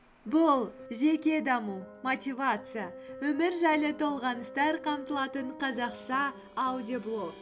бұл жеке даму мотивация өмір жайлы толғаныстар қамтылатын қазақша аудиоблог